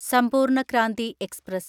സമ്പൂർണ ക്രാന്തി എക്സ്പ്രസ്